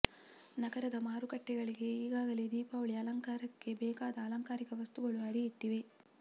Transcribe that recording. ನಗರದ ಮಾರುಕಟ್ಟೆಗಳಿಗೆ ಈಗಾ ಗಲೇ ದೀಪಾವಳಿ ಅಲಂಕಾರಕ್ಕೆ ಬೇಕಾದ ಅಲಂಕಾರಿಕ ವಸ್ತುಗಳು ಅಡಿ ಇಟ್ಟಿವೆ